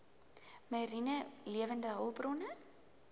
mariene lewende hulpbronne